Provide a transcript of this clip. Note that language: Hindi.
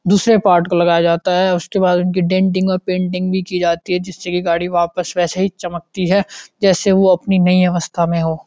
दूसरे पार्ट का लगाया जाता है उसके बाद उनकी डेंटिग और पेंटिंग भी कि जाती है जिसे की गाड़ी वापस वैसा ही चमकती है जैसे ओ अपनी नई अवस्था में हो।